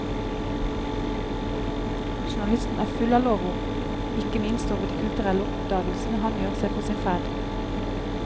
Journalisten er full av lovord, ikke minst over de kulturelle oppdagelsene han gjør seg på sin ferd.